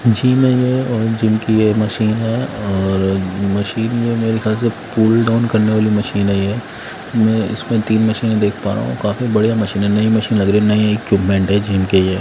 Gym है ये और जिम की ये मशीन है और मशीन में मेरे ख्याल से पुल डाउन करने वाली मशीन है ये मैं इसमें तीन मशीने देख पा रहा हूं काफी बढ़िया मशीन है नई मशीन लग रही नई इक्विपमेंट है जिम के ये।